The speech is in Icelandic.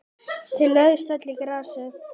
Þau lögðust öll í grasið.